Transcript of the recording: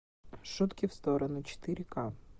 шутки в сторону четыре ка